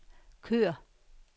kør